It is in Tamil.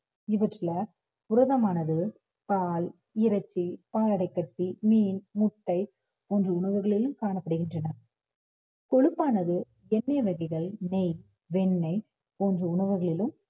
இவற்றுல புரதமானது பால், இறைச்சி, பாலாடைக்கட்டி, மீன், முட்டை போன்ற உணவுகளிலும் காணப்படுகின்றன கொழுப்பானது எண்ணெய் வகைகள், நெய் வெண்ணெய் போன்ற உணவுகளிலும்